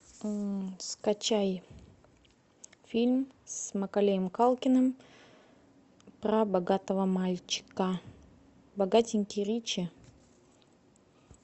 скачай фильм с маколеем калкиным про богатого мальчика богатенький ричи